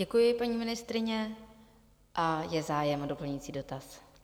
Děkuji, paní ministryně, a je zájem o doplňující dotaz?